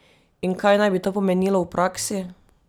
In kaj naj bi to pomenilo v praksi?